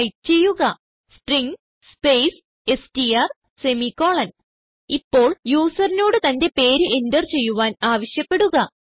type ചെയ്യുക string space STR semicolon ഇപ്പോൾ യൂസറിനോട് തന്റെ പേര് എന്റർ ചെയ്യാൻ ആവശ്യപ്പെടുക